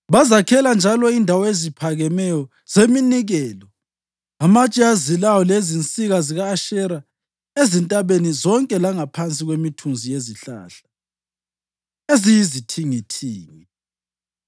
Bazakhela njalo indawo eziphakemeyo zeminikelo, amatshe azilayo lezinsika zika-Ashera ezintabeni zonke langaphansi kwemithunzi yezihlahla eziyizithingithingi.